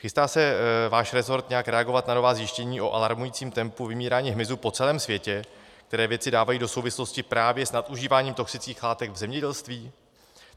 Chystá se váš resort nějak reagovat na nová zjištění o alarmujícím tempu vymírání hmyzu po celém světě, které vědci dávají do souvislosti právě s nadužíváním toxických látek v zemědělství?